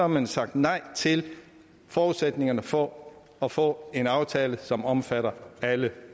man sagt nej til forudsætningerne for at få en aftale som omfatter alle